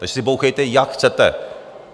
Takže si bouchejte, jak chcete.